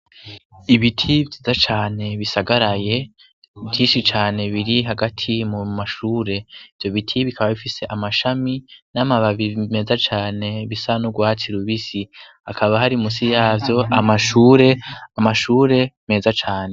Ibiti vyiza cane bisagaraye, vyishi cane biri hagati mu mashure. Ivyo biti bikaba bifise amashami n'amababi meza cane bisa n'urwatsi rubisi akaba hari munsi yavyo amshure, amashure meza cane.